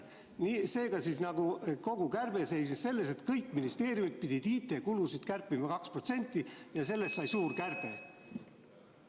Seega, kogu kärbe seisnes selles, et kõik ministeeriumid pidid oma IT-kulusid kärpima 2% ja sellest sai suur kärbe.